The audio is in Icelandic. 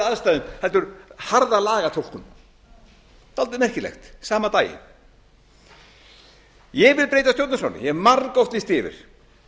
aðstæðum heldur harða lagatúlkun dálítið merkilegt sama daginn ég vil breyta stjórnarskránni ég hef margoft lýst því yfir